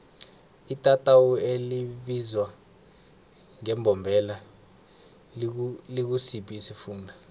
itatawu elibizwa ngembombela likusiphi isifunda